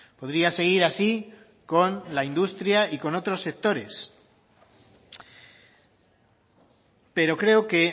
podría seguir así con la industria y con otros sectores pero creo que